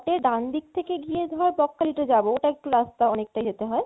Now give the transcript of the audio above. ডান দিক দিয়ে ধর বকখালিতে যাবো ওটা ইকটু রাস্তা অনেকটা ইয়েতে হয়